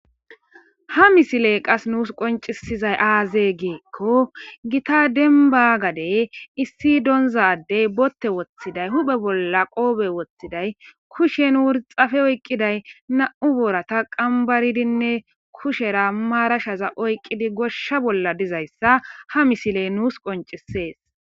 ha misiley qas nuus qoncisizay aazee giikko gita denba gade issi donzadey botte woththiday huphe bolla qoobe woththiday kushen wurxafe oyqqiday na7u boorata qambaridinne kushera maarashaza oyqqidi goshsha bolla dizayssa ha misile nuus qoncisees